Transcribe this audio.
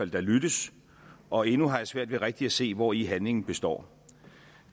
der lyttes og endnu har jeg svært ved rigtig at se hvori handlingen består